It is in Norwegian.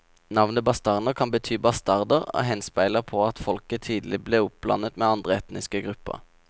Navnet bastarner kan bety bastarder og henspeiler på at folket tidlig ble oppblandet med andre etniske grupper.